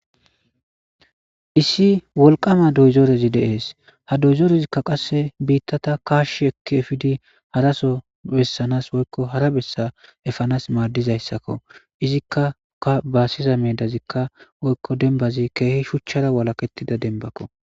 issi wolqama doyzoorezi deees ha doyzoorezikka qasse biittata kaash ekki efidi haraso bessanas woykko hara bessa efanas maadizayssakko izikkauka baassiza meedazikka woykko denbazi keehi shuchchara walakettida denbakko